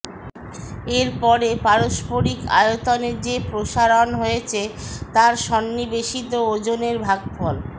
এরপরে পারস্পরিক আয়তনের যে প্রসারণ হয়েছে তার সন্নিবেশিত ওজনের ভাগফল